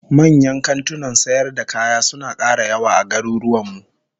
Manyan kantunan sayar da kaya suna kara yawa a garuruwan mu